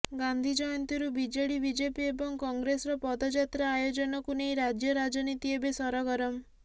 ଗାନ୍ଧୀ ଜୟନ୍ତୀରୁ BJD BJP ଏବଂ କଂଗ୍ରେସର ପଦଯାତ୍ରା ଆୟୋଜନକୁ ନେଇ ରାଜ୍ୟ ରାଜନୀତି ଏବେ ସରଗରମ